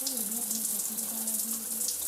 ũyũ ndendete kũrĩha mathirĩ